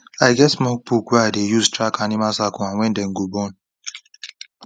i get small book wey i dey use track each animal cycle and when dem go born